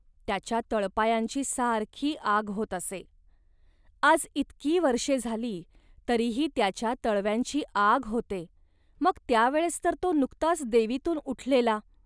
त्याच्या तळपायांची सारखी आग होत असे. आज इतकी वर्षे झाली, तरीही त्याच्या तळव्यांची आग होते, मग त्या वेळेस तर तो नुकताच देवीतून उठलेला